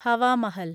Hawa Mahal